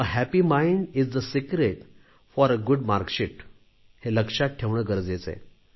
आनंदी मन हे चांगल्या गुण पत्रिकेचं रहस्य आहे हे लक्षात ठेवणे गरजेचे आहे